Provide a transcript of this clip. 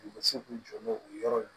U bɛ se k'u jɔ n'o o yɔrɔ ye